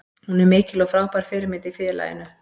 Hún er mikil og frábær fyrirmynd í félaginu.